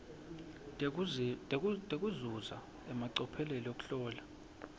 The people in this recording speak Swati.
tekuzuza emacophelo ekuhlola